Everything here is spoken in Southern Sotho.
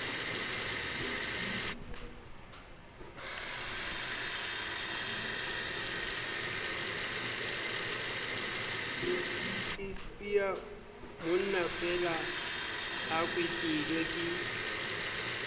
ispia monnafeela a kwetelwe ke